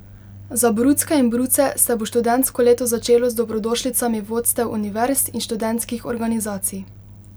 Za brucke in bruce se bo študijsko leto začelo z dobrodošlicami vodstev univerz in študentskih organizacij.